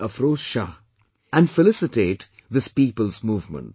Afroz Shah, and felicitate this people's movement